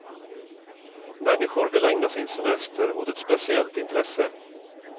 Människor vill ägna sin semester åt ett speciellt intresse.